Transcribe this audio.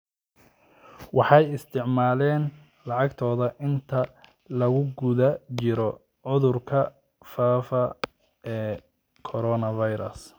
Waxay isticmaaleen lacagtoda inta lagu guda jiro cudurka faafa ee coronavirus.